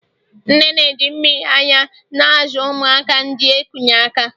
nne na-eji mmiri ara na-azụ ụmụaka ndi eku n'aka